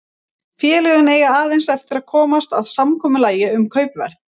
Félögin eiga aðeins eftir að komast að samkomulagi um kaupverð.